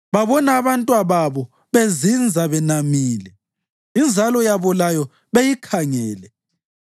Babona abantwababo bezinza benamile, inzalo yabo layo beyikhangele.